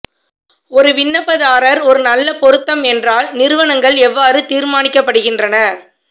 ஒரு விண்ணப்பதாரர் ஒரு நல்ல பொருத்தம் என்றால் நிறுவனங்கள் எவ்வாறு தீர்மானிக்கப்படுகின்றன